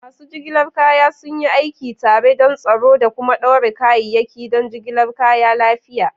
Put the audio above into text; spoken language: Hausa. Masu jigilar kaya sun yi aiki tare don tsaro da kuma ɗaure kayayyaki don jigilar kaya lafiya.